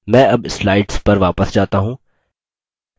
मैं अब slides पर वापस जाता हूँ